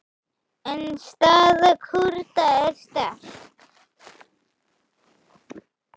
En staða Kúrda er sterk.